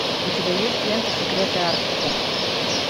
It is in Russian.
у тебя есть лента секреты арктики